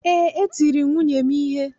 Ee, etiri m nwunye m ihe.